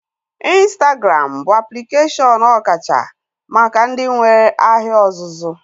Ịnstagram bụ aplikeshọn ọkacha maka ndị nwee ahịa ọzụzụ